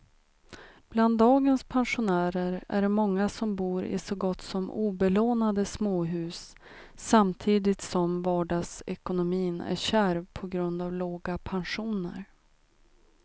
Bland dagens pensionärer är det många som bor i så gott som obelånade småhus samtidigt som vardagsekonomin är kärv på grund av låga pensioner.